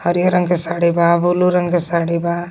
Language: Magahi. हरिहर रंग के साड़ी बा ब्लू रंग के साड़ी बा.